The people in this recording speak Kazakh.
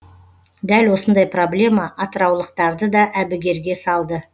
дәл осындай проблема атыраулықтарды да әбігерге салды